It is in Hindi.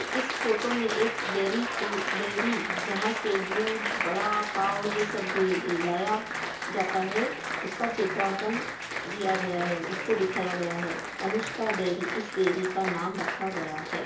इस फोटो में एक डेरी को डेरी जहां से दूध वड़ा पाव यह सब भी लाया जाता है उसका चित्रांकन किया गया है| उसको दिखाया गया है| अनुष्का डेरी इस डेरी का नाम रखा गया है।